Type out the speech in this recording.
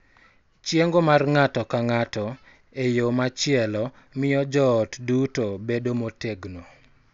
Chiengo mar ng�ato ka ng�ato, e yo machielo, miyo joot duto bedo motegno, .